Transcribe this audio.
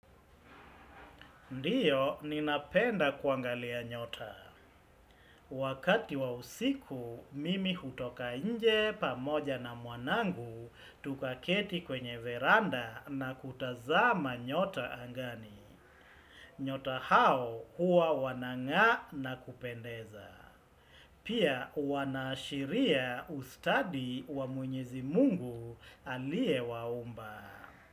Ndio, ninapenda kuangalia nyota. Wakati wa usiku, mimi hutoka nje pamoja na mwanangu tuka keti kwenye veranda na kutazama nyota angani. Nyota hao huwa wanang'aa na kupendeza. Pia wana ashiria ustadi wa mwenyezi Mungu aliye waumba.